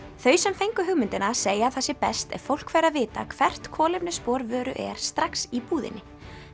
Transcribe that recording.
þau sem fengu hugmyndina segja að það sé best ef fólk fær að vita hvert kolefnisspor vöru er strax í búðinni